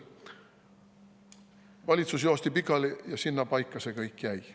Aga valitsus joosti pikali ja sinnapaika see kõik jäi.